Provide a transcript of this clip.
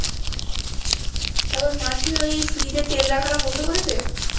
মাসি ওই fridge এ তেল রাখাটা বন্ধ করেছে